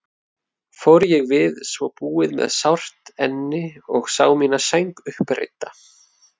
Fór ég við svo búið með sárt enni og sá mína sæng uppreidda.